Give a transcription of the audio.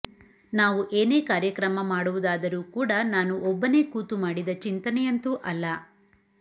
ನಾವು ಏನೇ ಕಾರ್ಯಕ್ರಮ ಮಾಡುವುದಾದರೂ ಕೂಡ ನಾನು ಒಬ್ಬನೇ ಕೂತು ಮಾಡಿದ ಚಿಂತನೆಯಂತೂ ಅಲ್ಲ